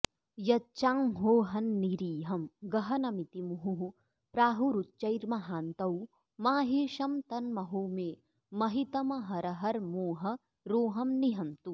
यच्चांहोहन्निरीहं गहनमिति मुहुः प्राहुरुच्चैर्महान्तौ माहेशं तन्महो मे महितमहरहर्मोहरोहं निहन्तु